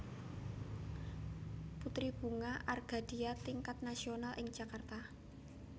Putri Bunga Argadia Tingkat Nasional ing Jakarta